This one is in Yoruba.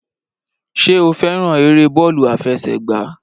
Ṣé o fẹ́ràn eré bọ́ọ̀lù àfẹsẹ̀gba?